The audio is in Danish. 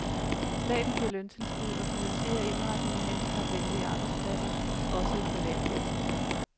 Staten giver løntilskud og finansierer indretning af handicapvenlige arbejdspladser også i privatvirksomheder.